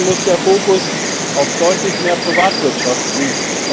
Deswegen muss der Fokus auf deutlich mehr Privatwirtschaft liegen.